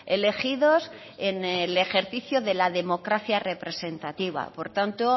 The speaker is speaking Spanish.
elegidos en el ejercicio de la democracia representativa por tanto